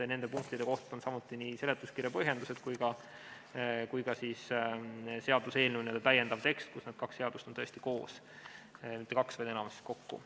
Nende punktide kohta on samuti olemas nii seletuskirja põhjendused kui ka seaduseelnõu täiendav tekst, kus need seadused on tõesti koos.